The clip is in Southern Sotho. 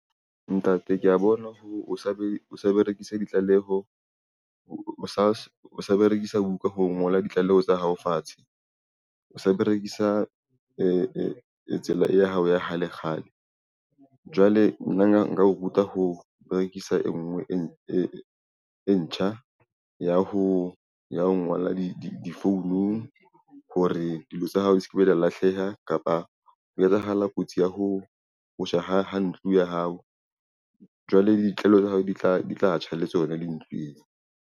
Ntate kea bona, o sa berekise ditlaleho o sa berekisa buka ho ngola ditlaleho tsa hao fatshe o sa berekisa tsela e ya hao ya kgale kgale. Jwale nna nka o ruta ho berekisa e nngwe e ntjha ya ho ngola difounung hore dilo tsa hao di sekebe tsa lahleha kapa ho etsahala kotsi ya ho tjha ha ntlo ya hao jwale le ditlwaelo tsa hao di tla tjha, le tsona .